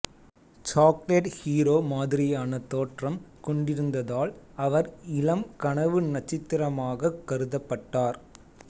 chocolate hero மாதிரியான தோற்றம் கொண்டிருந்ததால் அவர் இளம் கனவு நட்சத்திரமாகக் கருதப்பட்டார்